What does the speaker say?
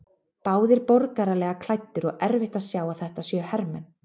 Báðir borgaralega klæddir og erfitt að sjá að þetta séu hermenn.